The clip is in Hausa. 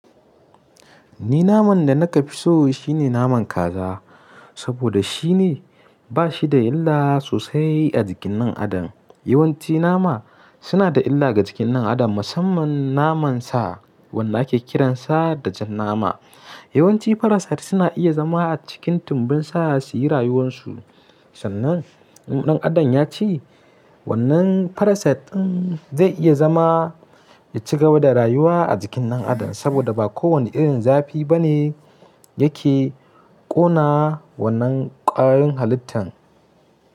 Ni naman da naka fi so shine naman kaza, saboda shi ne ba shi da illa sosai a jikin ɗan adam. Yawanci nama suna da illa ga jikin dan adam musamman naman sa wanda ake kiransa da jan nama. Yawanci parasite suna iya zama a cikin tumbin sa su yi rayuwan su, sannan ɗan adam ya ci wannan parasite ɗin zai iya zama ya cigaba da rayuwa a jikin ɗan adam saboda ba kowane irin zafi ba ne yake ƙona wannan ƙwayoyin halittan.